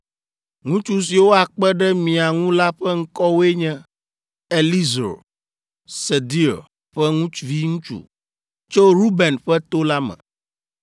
“Ŋutsu siwo akpe ɖe mia ŋu la ƒe ŋkɔwoe nye: “Elizur, Sedeur ƒe viŋutsu, tso Ruben ƒe to la me.